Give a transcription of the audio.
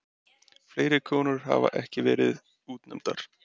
Fleiri konur hafa ekki verið útnefndar.